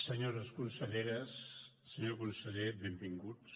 senyores conselleres senyor conseller benvinguts